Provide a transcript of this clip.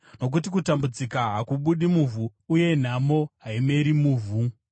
Nokuti kutambudzika hakubudi muvhu, uye nhamo haimeri muvhu.